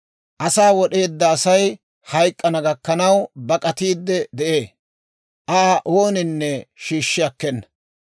Asaa wod'eedda Asay hayk'k'ana gakkanaw bak'atiidde de'ee; Aa ooninne shiishshi akkena.